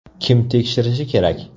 Kim tekshirishi kerak?